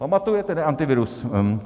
Pamatujete na Antivirus?